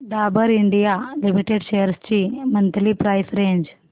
Dabur India limited shares ची monthly price range